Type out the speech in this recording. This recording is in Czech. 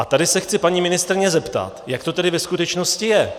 A tady se chci paní ministryně zeptat, jak to tedy ve skutečnosti je.